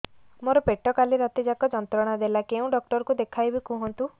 ମୋର ପେଟ କାଲି ରାତି ଯାକ ଯନ୍ତ୍ରଣା ଦେଲା କେଉଁ ଡକ୍ଟର ଙ୍କୁ ଦେଖାଇବି କୁହନ୍ତ